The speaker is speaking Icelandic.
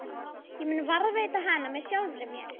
Ég mun varðveita hana með sjálfri mér.